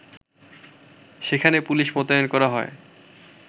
সেখানে পুলিশ মোতায়েন করা হয়